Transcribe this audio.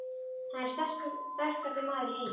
Hann er sterkasti maður í heimi!